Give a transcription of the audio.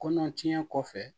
Kɔnɔ tiɲɛ kɔfɛ